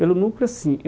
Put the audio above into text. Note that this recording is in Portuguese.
Pelo Núcleo, sim.